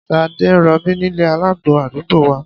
Ṣadé ń rọbí nílé alágbo àdúgbò wa